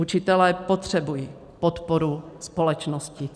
Učitelé potřebují podporu společnosti.